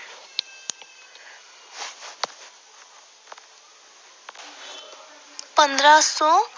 ਪੰਦਰਾਂ ਸੌ